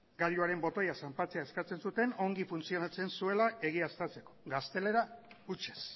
gailuaren botoia zanpatzea eskatzen zuten ongi funtzionatzen zuela egiaztatzeko gaztelera hutsez